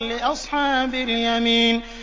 لِّأَصْحَابِ الْيَمِينِ